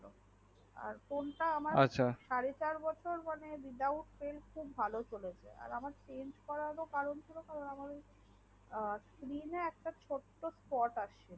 আর phone তা আমার সাড়ে চার বছর without tention ভালো চলেছে আর আমার change করার কারণ ছিল sim একটা ছোট্ট থট আসছে